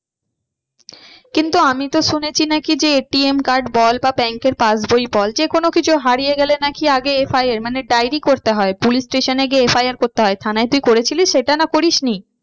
কিন্তু আমি তো শুনেছি নাকি যে ATM বা bank এর পাসবই বল যে কোনো কিছু হারিয়ে গেলে নাকি আগে FIR মানে ডায়রি করতে হয়। police station এ গিয়ে FIR করতে হয় থানায় তুই করেছিলিস সেটা না করিসনি?